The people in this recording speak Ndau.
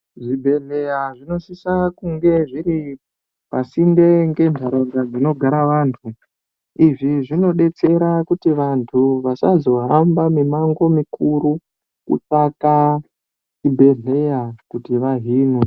Zvi bhedhleya zvino sisa kunge zviri pasinde nge nharaunda dzino gara vantu izvi zvino detsera kuti vantu vasazo hamba mi mango mikurutu kutsvaka chi bhedhleya kuti vahinwe.